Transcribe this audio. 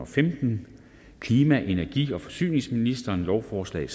femten klima energi og forsyningsministeren lovforslag